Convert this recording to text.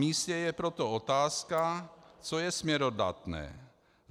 Namístě je proto otázka, co je směrodatné.